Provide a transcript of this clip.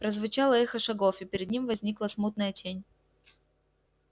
прозвучало эхо шагов и перед ним возникла смутная тень